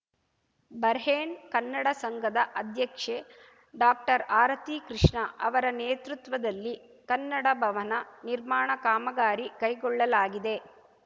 Bahrain Kannada ಸಂಘದ ಅಧ್ಯಕ್ಷೆ ಡಾಕ್ಟರ್ಆರತಿ ಕೃಷ್ಣ ಅವರ ನೇತೃತ್ವದಲ್ಲಿ ಕನ್ನಡ ಭವನ ನಿರ್ಮಾಣ ಕಾಮಗಾರಿ ಕೈಗೊಳ್ಳಲಾಗಿದೆ